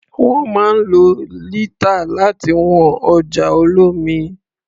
Wọ́n máa ń lo lítà láti wọn ọjà olómi.